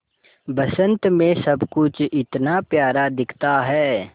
बसंत मे सब कुछ इतना प्यारा दिखता है